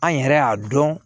An yɛrɛ y'a dɔn